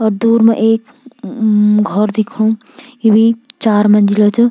और दूर मा ममम एक घौर दिखणु येभी चार मंजिला च।